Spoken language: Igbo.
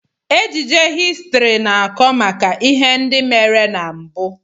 Ejije histrị na-akọ maka ihe ndị mere na mbụ.